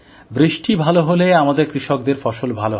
বৃষ্টি ভালো হলে আমাদের কৃষকদের ফসল ভালো হবে